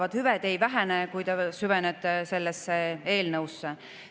kui te süvenete sellesse eelnõusse.